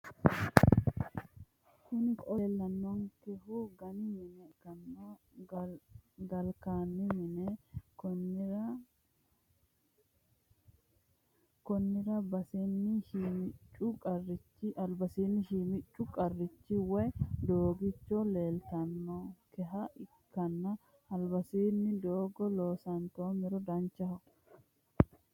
Kuni ko'o leellanonkehu ganni mine ikkanna galkani mini konnira basiini shimiccu qarrichu woye dogicho leeltanonkeha ikkanna albiidisi doogo loosantoomero danchaho.